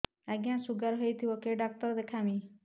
ଆଜ୍ଞା ଶୁଗାର ହେଇଥିବ କେ ଡାକ୍ତର କୁ ଦେଖାମି